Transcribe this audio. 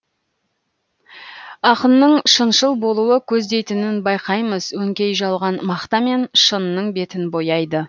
ақынның шыншыл болуы көздейтінін байқаймыз өңкей жалған мақтамен шынның бетін бояйды